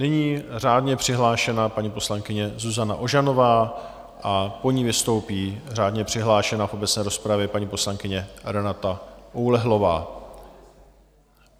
Nyní řádně přihlášená paní poslankyně Zuzana Ožanová a po ní vystoupí řádně přihlášená v obecné rozpravě paní poslankyně Renata Oulehlová.